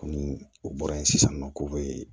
Komi u bɔra yen sisan nɔ k'u bɛ